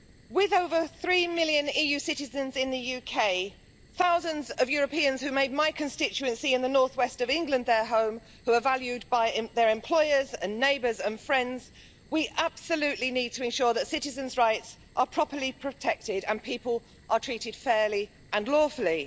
With over 3 million EU citizens in the UK, thousands of Europeans who made my constituency in the north west of England their home, who are valued by their employers and neighbours and friends, we absolutely need to ensure that citizens' rights are properly protected and people are treated fairly and lawfully.